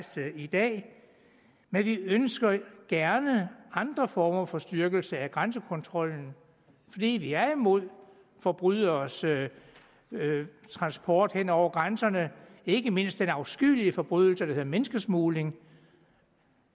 stillet i dag men vi ønsker gerne andre former for styrkelse af grænsekontrollen fordi vi er imod forbryderes transport hen over grænserne ikke mindst i afskyelige forbrydelse der hedder menneskesmugling